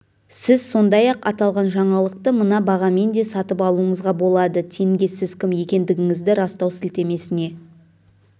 сіз сондай-ақ аталған жаңалықты мына бағамен де сатып алуыңызға болады тенге сіз кім екендігіңізді растау сілтемесіне